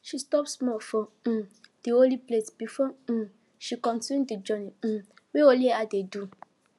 she stop small for um di holy place before um she continue the journey um wey only her dey do